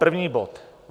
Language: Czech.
První bod.